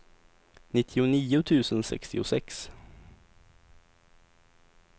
nittionio tusen sextiosex